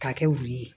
K'a kɛ wulu ye